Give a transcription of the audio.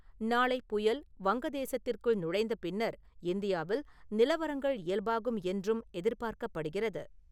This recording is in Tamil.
நாளை புயல் வங்க தேசத்திற்குள் நுழைந்த பின்னர் இந்தியாவில் நிலவரங்கள் இயல்பாகும் என்றும் எதிர்பார்க்கப்படுகிறது.